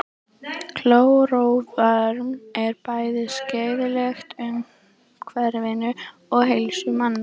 klóróform er bæði skaðlegt umhverfinu og heilsu manna